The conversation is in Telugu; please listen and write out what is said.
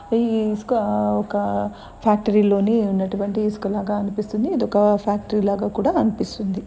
ఇ ఇసుక ఒక్క ఫ్యాక్టరీ లోని ఉన్నటువంటి ఇసుక లాగా అనిపిస్తుంది. ఇది ఒక్క ఫ్యాక్టరీ లాగా కూడా కనిపిస్తుంది.